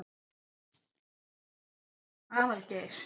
Aðalgeir